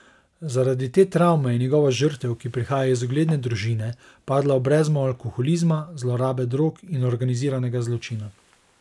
Zaradi te travme je njegova žrtev, ki prihaja iz ugledne družine, padla v brezno alkoholizma, zlorabe drog in organiziranega zločina.